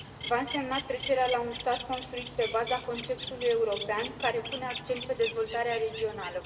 Va însemna trecerea la un stat construit pe baza conceptului european, care pune accentul pe dezvoltarea regională.